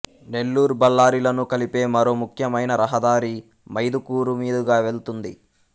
నెల్లూరుబళ్ళారిలను కలిపే మరో ముఖ్యమైన రహదారి మైదుకూరు మీదుగా వెళ్తుంది